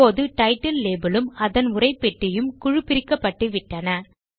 இப்போது title label உம் அதன் உரைப்பெட்டியும் குழு பிரிக்கப்பட்டுவிட்டன